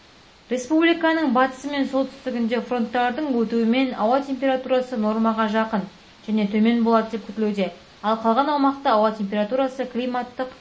республиканың батысы мен солтүстігінде фронттардың өтуімен ауа температурасы нормаға жақын және төмен болады деп күтілуде ал қалған аумақта ауа температурасы климаттық